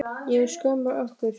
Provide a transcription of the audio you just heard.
Ég hef skömm á ykkur.